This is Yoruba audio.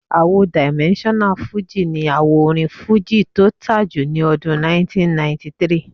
Àwo Dimensional Fújì ni àwo orin fújì tó tà jùlọ ní ọdún 1993